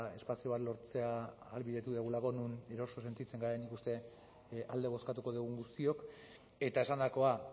espazio bat lortzea ahalbidetu dugulako non eroso sentitzen garen nik uste alde bozkatuko dugun guztiok eta esandakoa